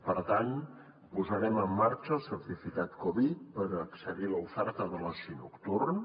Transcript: per tant posarem en marxa el certificat covid per accedir a l’oferta de l’oci nocturn